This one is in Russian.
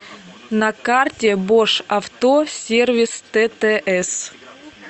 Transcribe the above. на карте бош авто сервис ттс